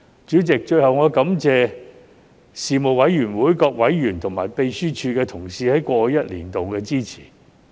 主席，最後我感謝事務委員會各委員和秘書處同事在過去一年的支持。